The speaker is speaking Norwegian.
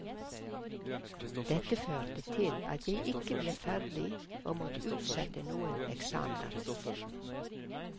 Dette førte til at jeg ikke ble ferdig og måtte utsette noen eksamener.